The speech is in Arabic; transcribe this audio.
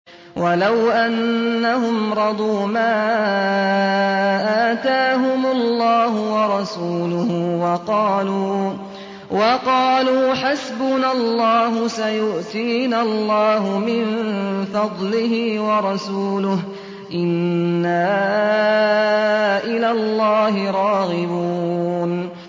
وَلَوْ أَنَّهُمْ رَضُوا مَا آتَاهُمُ اللَّهُ وَرَسُولُهُ وَقَالُوا حَسْبُنَا اللَّهُ سَيُؤْتِينَا اللَّهُ مِن فَضْلِهِ وَرَسُولُهُ إِنَّا إِلَى اللَّهِ رَاغِبُونَ